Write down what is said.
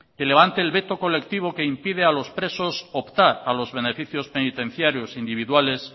que levante el veto colectivo que impide a los presos optar a los beneficios penitenciarios individuales